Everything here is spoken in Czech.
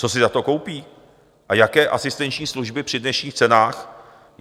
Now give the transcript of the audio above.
Co si za to koupí a jaké asistenční služby při dnešních cenách?